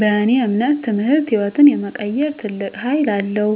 በእኔ እምነት ትምህርት ህይወትን የመቀየር ትልቅ ሀይል አለዉ።